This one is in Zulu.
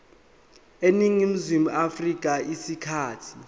eningizimu afrika isikhathi